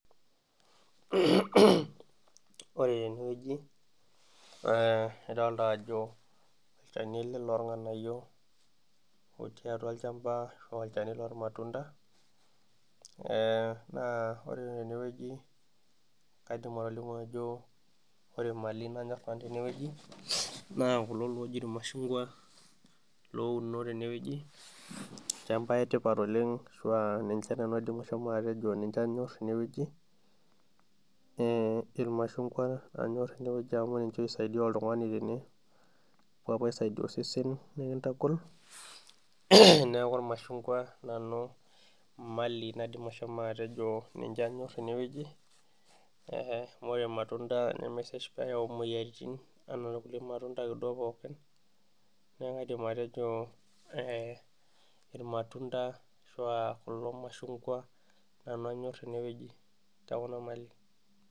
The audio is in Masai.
Ore tenewueji eh nidolta ajo olchani ele lorng'anayio otii atua olchamba paa olchani lormatunda eh naa ore tenewueji kaidim atolimu ajo ore imali nanyorr nanu tenewueji naa kulo loji irmashungwa louno tenewueji amu ninche oisaidia oltung'ani tene epuo apuo aisaidia osesen nikintagol neeku irmashungwa nanu imali naidim ashomo atejo ninche anyorr tenewueji eh amu ore irmatunda nemesesh peyau imoyiaritin enaa kulie matunda akeduo pookin neeku kaidim atejo eh irmatunda ashua kulo mashungwa nanu anyorr tenewueji tekuna mali.